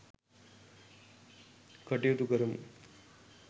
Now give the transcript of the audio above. කටයුතු කරමු .